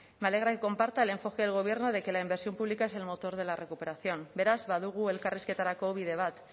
me alegra que comparta el enfoque del gobierno de que la inversión pública es el motor de la recuperación beraz badugu elkarrizketarako bide bat